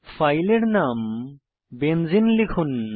ফাইলের নাম বেনজেনে লিখুন